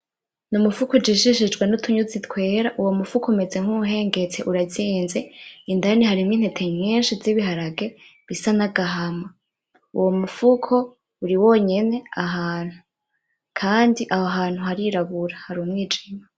Ni umufuko ujishishijwe n'utunyuzi twera. Uwo mufuko umeze nk'uwuhengetse, urazinze, indani harimwo intete nyinshi z'ihiharage bisa n'agahama. Uwo mufuko uri wonyene ahantu, kandi aho hantu harirabura, hari umwijima.